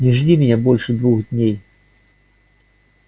не жди меня больше двух дней